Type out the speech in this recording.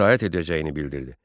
İtaət edəcəyini bildirdi.